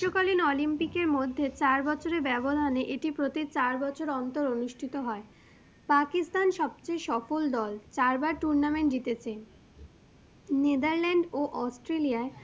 গ্রীষ্মকালীন অলিম্পিকের মধ্যে চার বছরের ব্যবধানে এটি প্রতি চার বছর অন্তর অনুষ্ঠিত হয়, Pakistan সবচেয়ে সফল দল, চারবার tournament জিতেছে Netherland ও Australia য়ায়